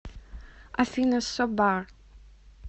афина собар